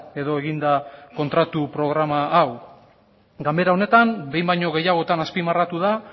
edo egin da kontratu programa hau ganbera honetan behin baino gehiagotan azpimarratu da